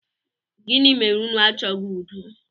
Gini mere unu achọghị udo?